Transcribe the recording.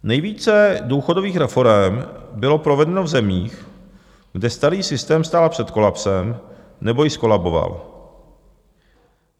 Nejvíce důchodových reforem bylo provedeno v zemích, kde starý systém stál před kolapsem nebo již zkolaboval.